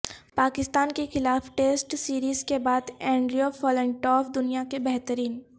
پاکستان کے خلاف test series کے بعد اینڈریو فلنٹاف دنیا کے بہترین